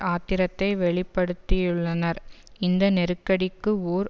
ஆத்திரத்தை வெளி படுத்தியுள்ளனர் இந்த நெருக்கடிக்கு ஓர்